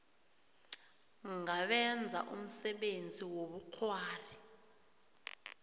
ngabenza umsebenzi wobukghwari